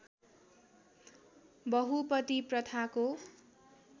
बहुपति प्रथाको